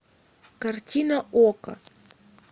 картина окко